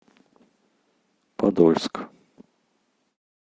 подольск